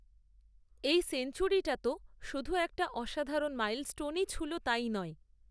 এই সেঞ্চুরিটা তো শুধু একটা, অসাধারণ মাইলস্টোনই ছুঁল তাই নয়